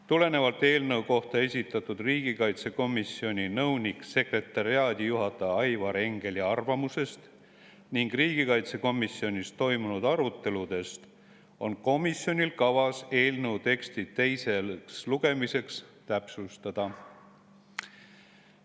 Tulenevalt eelnõu kohta esitatud riigikaitsekomisjoni nõunik-sekretariaadijuhataja Aivar Engeli arvamusest ning riigikaitsekomisjonis toimunud aruteludest on komisjonil kavas eelnõu teksti teiseks lugemiseks täpsustada.